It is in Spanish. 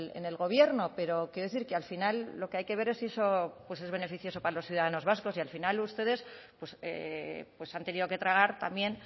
en el gobierno pero quiero decir que al final lo que hay que ver es si eso es beneficioso para los ciudadanos vascos y al final ustedes han tenido que tragar también